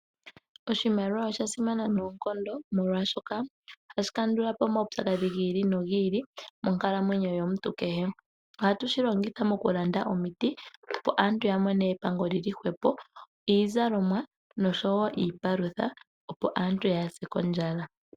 Oshimaliwa osha simana noonkondo, molwashoka ohashi kandula po omaupyakadhi gi ili nogi ili monkalamwenyo yomuntu kehe. Ohatu shi longitha okulanda omiti, opo aantu ya mone epango li li hwepo, iizalomwa noshowo iipalutha, opo aantu yaa se kondjala.